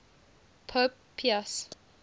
pope pius